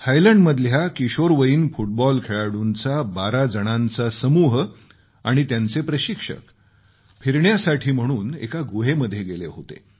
थायलंडमधल्या किशोरवयीन फुटबॉल खेळाडूंचा 12 जणांचा संघ आणि त्यांचे प्रशिक्षक फिरण्यासाठी म्हणून एका गुहेमध्ये गेले होते